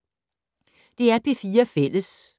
DR P4 Fælles